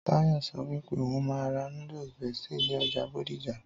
Táyọ̀ sọ wípé òhún máa ra noodles bestie ní ọjà bódìjà